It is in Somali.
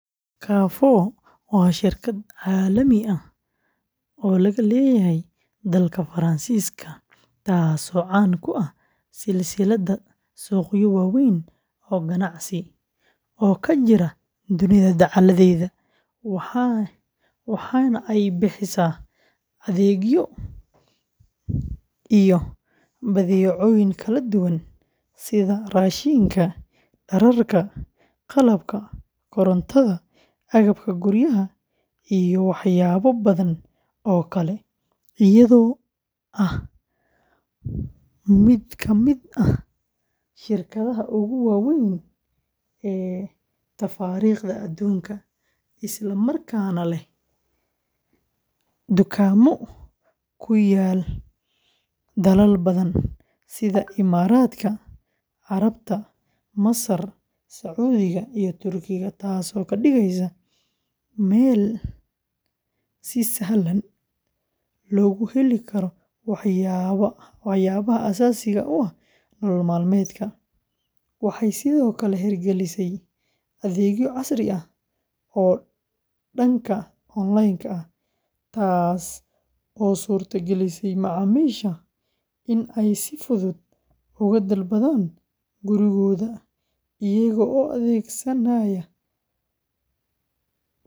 Carrefour waa shirkad caalami ah oo laga leeyahay dalka Faransiiska, taas oo caan ku ah silsilad suuqyo waaweyn oo ganacsi oo ka jira dunida dacalladeeda, waxaana ay bixisaa adeegyo iyo badeecooyin kala duwan sida raashinka, dharka, qalabka korontada, agabka guriga, iyo waxyaabo badan oo kale, iyadoo ah mid ka mid ah shirkadaha ugu waaweyn ee tafaariiqda adduunka, isla markaana leh dukaamo ku yaal dalal badan sida Imaaraatka Carabta, Masar, Sacuudiga, iyo Turkiga, taas oo ka dhigaysa meel si sahlan loogu heli karo waxyaabaha aasaasiga u ah nolol maalmeedka; waxay sidoo kale hirgelisay adeegyo casri ah oo dhanka online-ka ah, taas oo u suurto gelisay macaamiisha in ay si fudud uga dalbadaan gurigooda iyaga oo adeegsanaya.